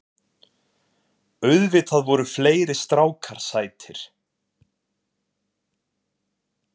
Auðvitað voru fleiri strákar sætir.